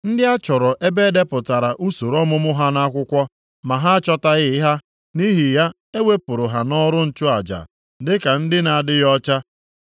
Ndị a chọrọ ebe e depụtara usoro ọmụmụ ha nʼakwụkwọ, ma ha achọtaghị ha nʼihi ya e wepụrụ ha nʼọrụ nchụaja dịka ndị na-adịghị ọcha.